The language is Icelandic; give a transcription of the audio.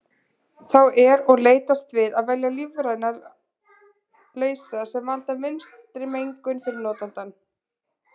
Þá er og leitast við að velja lífræna leysa sem valda minnstri mengun fyrir notandann.